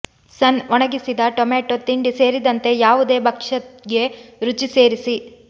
ಸನ್ ಒಣಗಿಸಿದ ಟೊಮ್ಯಾಟೊ ತಿಂಡಿ ಸೇರಿದಂತೆ ಯಾವುದೇ ಭಕ್ಷ್ಯ ಗೆ ರುಚಿ ಸೇರಿಸಿ